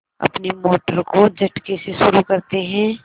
अपनी मोटर को झटके से शुरू करते हैं